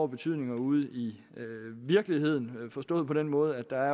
betydning ude i virkeligheden forstået på den måde at der